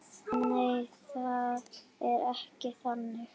Nei, það er ekki þannig.